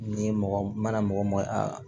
N'i ye mɔgɔ mana mɔgɔ mɔgɔ